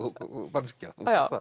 manneskja